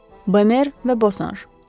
Bemer və Bosanj.